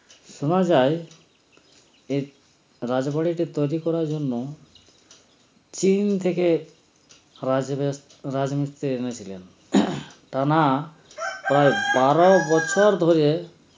শোনা যায় এই রাজবাড়ীটা তৈরি করার জন্য চীন থেকে রাজ মিস রাজমিস্ত্রি এনেছিলেন টানা প্রায় বারো বচ্ছর ধরে